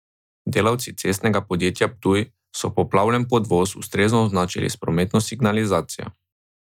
Delavci Cestnega podjetja Ptuj so poplavljen podvoz ustrezno označili s prometno signalizacijo.